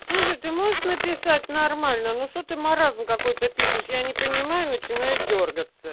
слушай ты можешь написать нормально ну что ты маразм какой-то пишешь я не понимаю начинаю дёргаться